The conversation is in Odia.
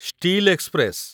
steel express